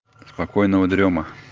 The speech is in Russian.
спокойного дрёма